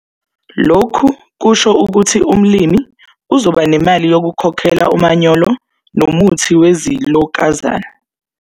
Lokhu kusho ukuthi umlimi uzoba nemali yokukhokhela umanyolo nomuthi wezilokazane.